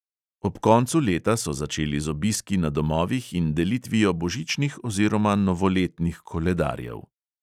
Ob koncu leta so začeli z obiski na domovih in delitvijo božičnih oziroma novoletnih koledarjev.